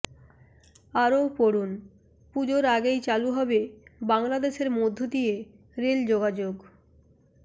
আরও পড়ুন পুজোর আগেই চালু হবে বাংলাদেশের মধ্যে দিয়ে রেল যোগাযোগ